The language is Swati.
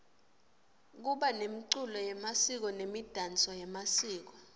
kuba nemculo yemasiko nemidanso yemasiko